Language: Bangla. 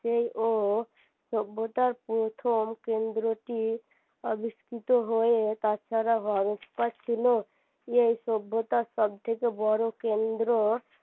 সেই ও সভ্যতার প্রথম কেন্দ্রটি আবিষ্কৃত হয়ে তাছাড়া ছিল এই সভ্যতার সব থেকে বড় কেন্দ্র